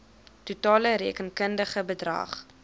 totale rekenkundige bedrag